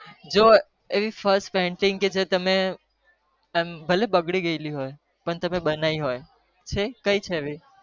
જૂ એવી પેલ્લું ચિત્ર કે ભલે બગડી ગયું હોય પણ તમે બન્યું હોય